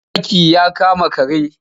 Zaki ya kama kare.